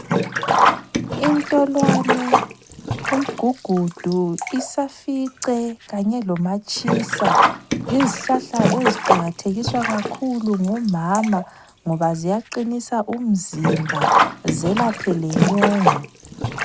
Intolwane, umgugudu, isafice kanye lomatshisa yizihlahla eziqakathekiswa kakhulu ngomama ngoba ziyaqinisa umzimba zelaphe lenyongo.